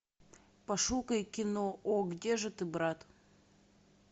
пошукай кино о где же ты брат